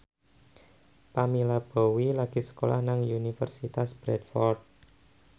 Pamela Bowie lagi sekolah nang Universitas Bradford